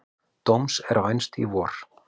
Dóms er vænst í vor.